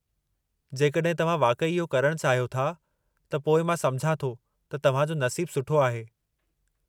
जेकॾहिं तव्हां वाक़ई इहो करणु चाहियो था त पोइ मां समुझां थो त तव्हां जो नसीबु सुठो आहे।